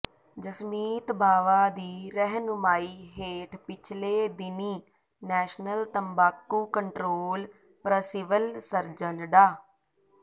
ਜਸਮੀਤ ਬਾਵਾ ਦੀ ਰਹਿਨੁਮਾਈ ਹੇਠ ਪਿਛਲੇ ਦਿਨੀਂ ਨੈਸ਼ਨਲ ਤੰਬਾਕੂ ਕੰਟਰੋਲ ਪ੍ਰਸਿਵਲ ਸਰਜਨ ਡਾ